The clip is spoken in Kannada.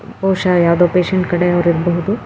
ಬಹುಶ ಯಾವುದೊ ಪೇಷಂಟ್ ಕಡೆ ಅವ್ರು ಇರಬಹುದು-